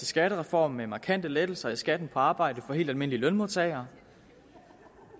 skattereform med markante lettelser af skatten på arbejde for helt almindelige lønmodtagere